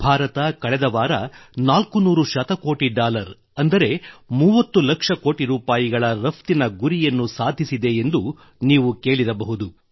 ಭಾರತ ಕಳೆದ ವಾರ 400 ಶತಕೋಟಿ ಡಾಲರ್ ಅಂದರೆ 30 ಲಕ್ಷಕೋಟಿ ರೂಪಾಯಿಗಳ ರಫ್ತಿನ ಗುರಿಯನ್ನು ಸಾಧಿಸಿದೆ ಎಂದು ನೀವು ಕೇಳಿರಬಹುದು